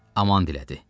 Aman dilədi.